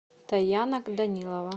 таяна данилова